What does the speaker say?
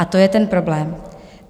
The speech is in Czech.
A to je ten problém.